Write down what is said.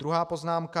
Druhá poznámka.